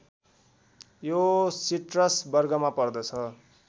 यो सिटरस वर्गमा पर्दछ